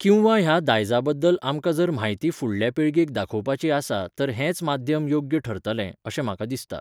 किंवा ह्या दायजा बद्दल आमकां जर म्हायती फुडल्या पिळगेक दाखोवपाची आसा तर हेंच मध्यम योग्य ठरतलें, अशें म्हाका दिसता.